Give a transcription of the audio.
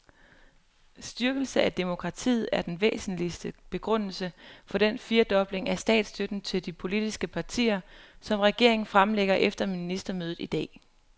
Styrkelse af demokratiet er den væsentligste begrundelse for den firedobling af statsstøtten til de politiske partier, som regeringen fremlægger efter ministermødet i dag.